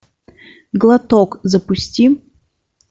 глоток запусти